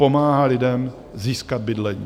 Pomáhá lidem získat bydlení.